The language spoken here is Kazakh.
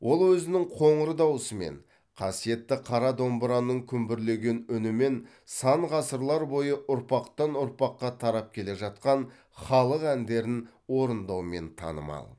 ол өзінің қоңыр даусымен қасиетті қара домбыраның күмбірлеген үнімен сан ғасырлар бойы ұрпақтан ұрпаққа тарап келе жатқан халық әндерін орындаумен танымал